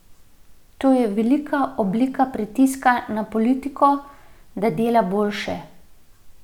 To je velika oblika pritiska na politiko, da dela boljše.